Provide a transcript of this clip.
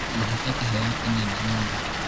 ũhete kĩheo kĩnene mũno